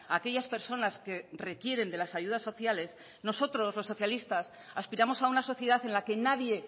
a aquellas personas que requieren de las ayudas sociales nosotros los socialistas aspiramos a una sociedad en la que nadie